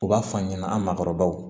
U b'a f'an ɲɛna an makɔrɔbaw